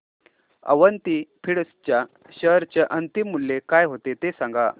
Avanti feeds च्या share चे अंतिम मूल्य काय होते ते सांगा